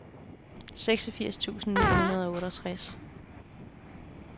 seksogfirs tusind ni hundrede og otteogtres